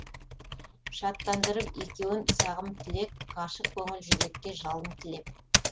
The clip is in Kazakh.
шаттандырып екеуін сағым тілек ғашық көңіл жүрекке жалын тілеп